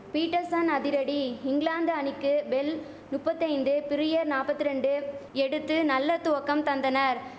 Peterson அதிரடி இங்கிலாந்து அணிக்கு பெல் நுப்பத்தி ஐந்து பிரியர் நாப்பத்திரண்டு எடுத்து நல்ல துவக்கம் தந்தனர்